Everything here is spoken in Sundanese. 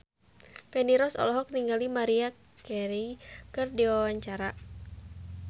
Feni Rose olohok ningali Maria Carey keur diwawancara